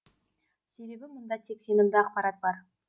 себебі мұнда тек сенімді ақпарат бар